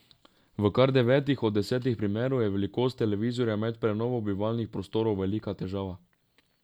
V kar devetih od desetih primerov je velikost televizorja med prenovo bivalnih prostorov velika težava.